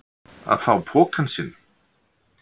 Að fá pokann sinn